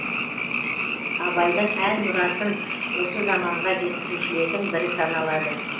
абайдың ән мұрасын осы заманға жеткізушілердің бірі саналады